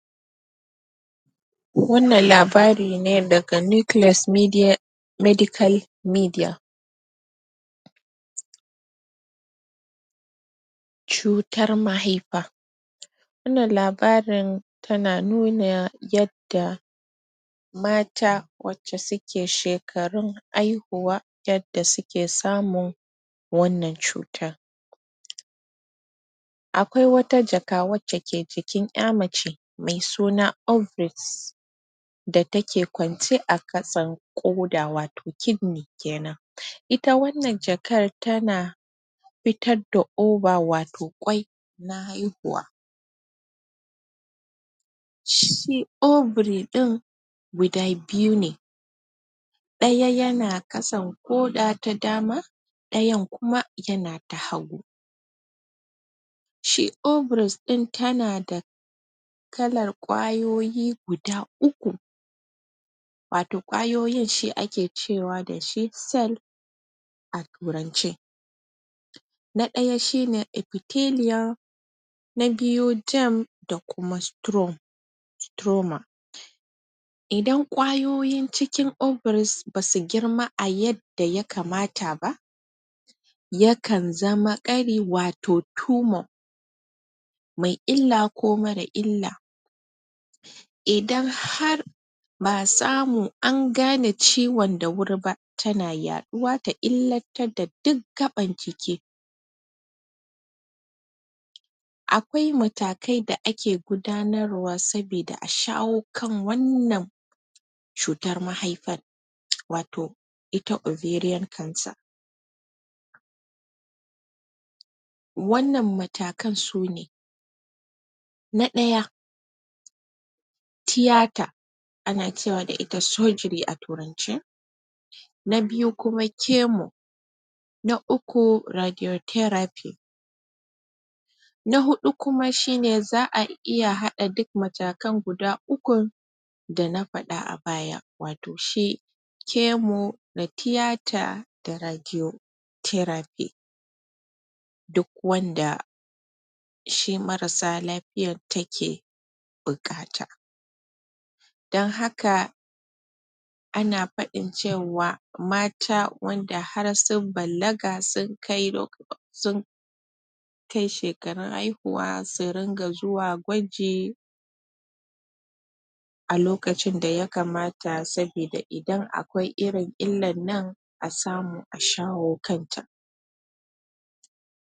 Wannan labarin ne daga Necleus Medical Media. Cutar mahaifa. Wannan labarin tana nuna yadda mata wacce shekarun hahuwa yadda suke samun wannan cutar Akwai wata jaka wacce ke jikin ƴa mace mai suna ovaries. da take kwance a kasan ƙoda, wato klidney kenan. Ita wannan jakar tana fitar da ova wato ƙwai. na haihuwa. Shi ovary ɗin guda biyu ne. Ɗaya yana ƙasan ƙoda ta dama, ɗayan kuma yana ta hagu. Shi ovaries ɗin tana da kalar ƙwayoyi guda uku, wato ƙwayoyin shi ake cewa da shi cell. a Turance. Na ɗaya shi ne epiteleum, nas biyu gem da kuma strauma. Idan ƙwayoyin cikin ovaries ba su girma a yadda ya kamata ba, yakan zama ƙari wato turmoil mai illa ko marar illa. Idan har ba a samu an gane ciwon da wuri ba yana yaɗuwa ta illatar da duk gaɓan jiki. Akwai matakai da ake gudanarwa sabida a shawo kan wannan cutar mahaifar, wato ita ovarian cancer. Wannan matakan su ne: Na ɗaya, tiyata, ana cewa da ita surgery a Turance. Na biyu kuma kemo. Na uku, radiotheraphy. Na huɗu kuma shi ne za a iya haɗa duk matakan guda ukun da na faɗa a baya wato shi kemo da tiyata da radiotheraphy. Duk wanda shi marar lafiyar take buƙata. Don haka, ana faɗin cewa mata wanda har sun balaga sun kai um shekarun haihuwa su ringa zuwa gwaji. lokacin da ya kamata saboda idan akwai irin illar nan a samu a shawo kanta.